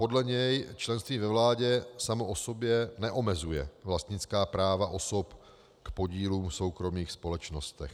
Podle něj členství ve vládě samo o sobě neomezuje vlastnická práva osob k podílům v soukromých společnostech.